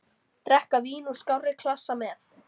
Drekka vín úr skárri klassa með.